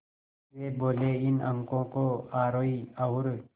वे बोले इन अंकों को आरोही और